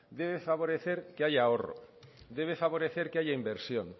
debe favorecer que haya ahorro debe favorecer que haya inversión